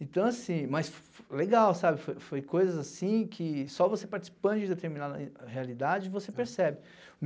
Então, assim, mas legal, sabe, foi foi coisas assim que só você participando de determinada rea realidade, que você percebe.